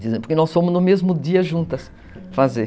Porque nós fomos no mesmo dia juntas fazer.